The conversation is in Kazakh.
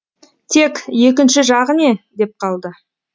тек екінші жағы не деп қалды